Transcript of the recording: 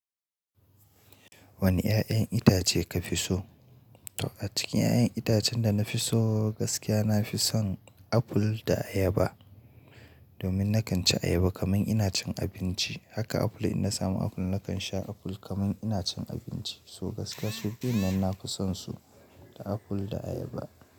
Wane 'ya'yan itace ka fi so? To a cikin 'ya'yan itacen da na fi so gaskiya nafi son aful da ayaba. Domin na kan ci ayaba kamar ina cin abinci. Haka aful in na samu aful na kan sha aful kamar ina cin abinci. So gaskiya su biyun nan nafi son su, da aful da ayaba.